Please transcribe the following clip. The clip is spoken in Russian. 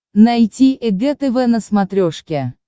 найти эг тв на смотрешке